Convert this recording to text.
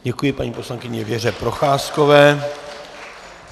Děkuji, paní poslankyni Věře Procházkové.